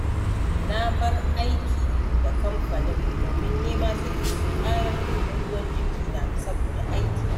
Na bar aiki da kamfanin domin nema suke, su ƙarar min da ruwan jikina saboda aiki.